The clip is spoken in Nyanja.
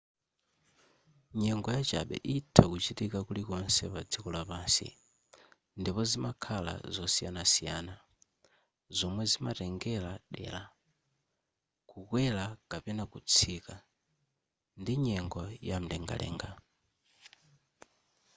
nyengo yachabe itha kuchitika kulikonse padziko lapansi ndipo zimakhala zosiyanasiyana zomwe zimatengera dera kukwera kapena kutsika ndi nyengo yamlengalenga